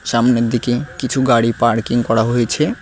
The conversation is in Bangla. সামনের দিকে কিছু গাড়ি পার্কিং করা হয়েছে।